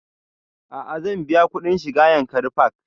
A'a zan biya kuɗin shiga yankari park